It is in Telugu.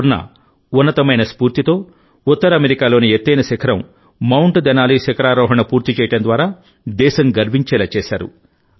పూర్ణఉన్నతమైన స్ఫూర్తితోఉత్తర అమెరికాలోని ఎత్తైన శిఖరం మౌంట్ దెనాలి శిఖరారోహణ పూర్తి చేయడం ద్వారా దేశం గర్వించేలా చేశారు